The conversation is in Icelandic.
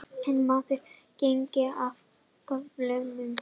Er maðurinn genginn af göflunum?